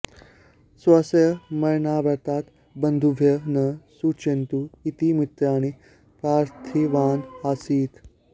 स्वस्य मरणवार्तां बन्धुभ्यः न सूचयन्तु इति मित्राणि प्रार्थितवान् आसीत्